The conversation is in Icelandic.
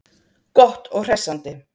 Gott og hressandi.